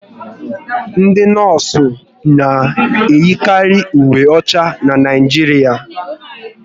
Ndị nọọsụ na eyikari uwe ọcha n'Naijiria